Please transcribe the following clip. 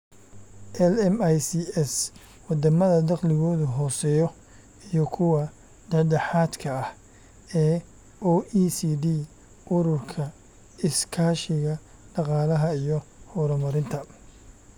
LMICs Waddamada dakhligoodu hooseeyo iyo kuwa dhexdhexaadka ah ee OECD Ururka Iskaashiga Dhaqaalaha iyo Horumarinta